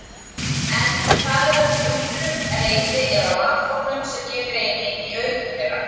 En það er ekki undrun, reiði eða vanþóknun sem ég greini í augum þeirra.